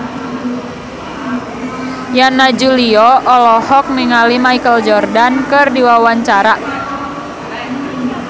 Yana Julio olohok ningali Michael Jordan keur diwawancara